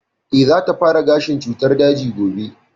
Eh, za ta fara gashin cutar daji gobe